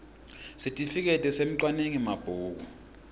sitifiketi semcwaningi mabhuku